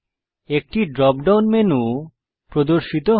একটি drop down menu প্রদর্শিত হয়